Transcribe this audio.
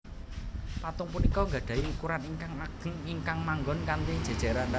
Patung punika nggadhahi ukuran ingkang ageng ingkang manggon kanthi jéjéran